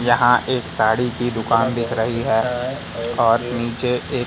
यहां एक साड़ी की दुकान दिख रही है और नीचे एक--